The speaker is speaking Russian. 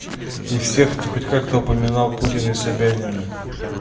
и все кто хоть как-то упоминал путина и собянина